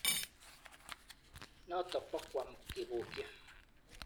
Notok bo Guam kebokyi.